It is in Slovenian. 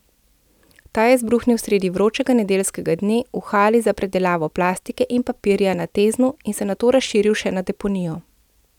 Ta je izbruhnil sredi vročega nedeljskega dne v hali za predelavo plastike in papirja na Teznu in se nato razširil še na deponijo.